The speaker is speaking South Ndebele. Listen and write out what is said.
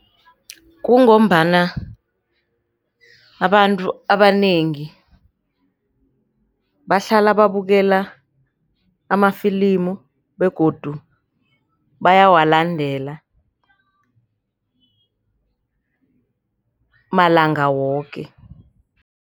Kungombana abantu abanengi bahlala babukela amafilimu begodu bayawalandela malanga woke.